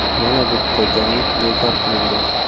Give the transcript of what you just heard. Yana bitta jangi bekor qilingan.